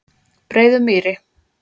Breiðumýri